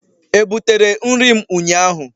Ebutere nri m ụnyahụ?